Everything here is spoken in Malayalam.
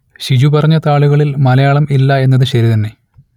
ഷിജു പറഞ്ഞ താളുകളിൽ മലയാളം ഇല്ല എന്നത് ശരി തന്നെ